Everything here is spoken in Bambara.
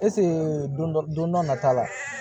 don dɔ don dɔ nata la